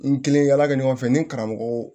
N kelen yala kɛ ɲɔgɔn fɛ ni karamɔgɔ